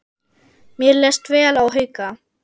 Mér leist vel á Hauka.